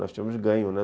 Nós tínhamos ganho, né?